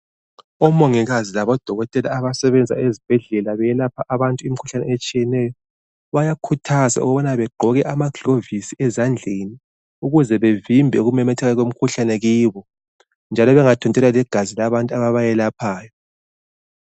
Omongikazi labodokotela abasebenza ezibhedlela beyelapha abantu imikhuhlane etshiyeneyo. Bayakhuthazwa ukubana begqoke amaglovisi ezandleni ukuze bevimbe ukumemetheka kwemkhuhlane kibo, njalo bengathontelwa ligazi labantu ababayelaphayo.